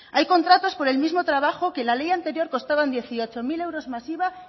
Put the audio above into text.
hay contratos por el mismo trabajo que en la ley anterior costaban dieciocho mil euros más iva